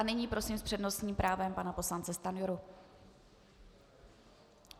A nyní prosím s přednostním právem pana poslance Stanjuru.